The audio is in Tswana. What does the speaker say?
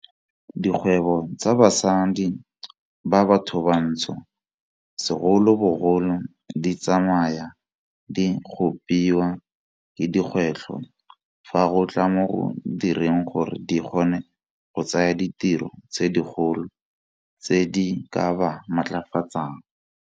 Dikgwebo tsa basadi ba bathobantsho segolobogolo di tsamaya di kgopiwa ke dikgwetlho fa go tla mo go direng gore di kgone go tsaya ditiro tse dikgolo tse di ka ba matlafatsang.